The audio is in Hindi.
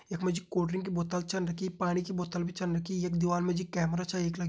यख मा जी कोल्ड ड्रिंक की बोतल छन रखीपाणी की बोतल भी छन रखी यख दीवाल मा जी कैमरा छ एक लग्युं --